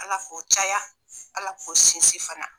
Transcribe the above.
ALA k'u caya ALA k'u sinsin fana.